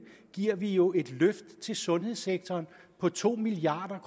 giver vi et løft til sundhedssektoren på to milliard